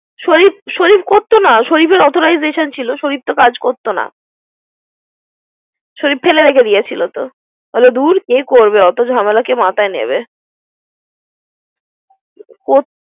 শরিফ, শরিফ করতো না। শরিফেরে authorization ছিল। শরিফ তো কাজ করতো না। শারিফ ফেলে রেখে দিয়েছিল তো । বলে দূর কে করবে অত জামেলঅকে মাথায় নিবে।